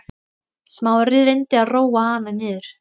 Smári reyndi að róa hana niður.